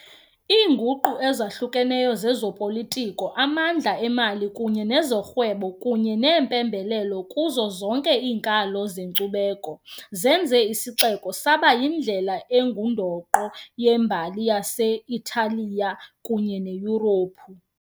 Iinguqu ezahlukeneyo zezopolitiko, amandla emali kunye nezorhwebo kunye neempembelelo kuzo zonke iinkalo zenkcubeko zenze isixeko saba yindlela engundoqo yembali yase-Italiya kunye neYurophu.